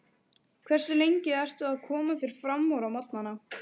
Hversu lengi ertu að koma þér framúr á morgnanna?